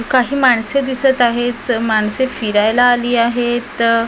काही माणसे दिसत आहेत माणसे फिरायला आली आहेत.